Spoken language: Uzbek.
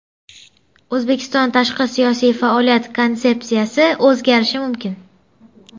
O‘zbekiston tashqi siyosiy faoliyat konsepsiyasi o‘zgarishi mumkin.